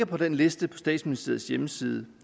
på den liste på statsministeriets hjemmeside